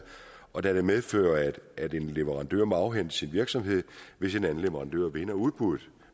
og det medfører at en leverandør må afhænde sin virksomhed hvis en anden leverandør vinder udbuddet